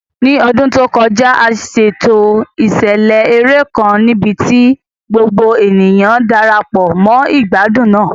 Ní ọdún tó kọjá, a ṣètò ìṣẹ̀lẹ̀ eré kan níbi tí gbogbo ènìyàn Darapọ̀ mọ́ ìgbádùn náà.